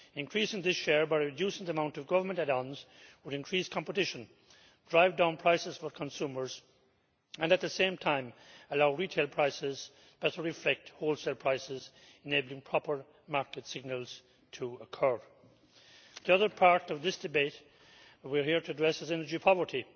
Increasing this share by reducing the amount of government add-ons would increase competition, drive down prices for consumers and, at the same time, allow retail prices to better reflect wholesale prices, enabling proper market signals to occur. The other part of this debate we are here to address is energy poverty.